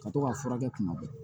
Ka to ka fura kɛ kuma bɛɛ